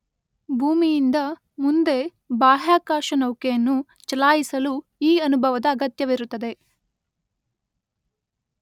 ಭೂಮಿಯಿಂದ ಮುಂದೆ ಬಾಹ್ಯಾಕಾಶ ನೌಕೆಯನ್ನು ಚಲಾಯಿಸಲು ಈ ಅನುಭವದ ಅಗತ್ಯವಿರುತ್ತದೆ.